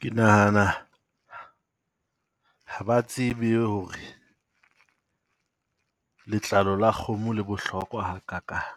Ke nahana ha ba tsebe ho re letlalo la kgomo le bohlokwa ha kakang.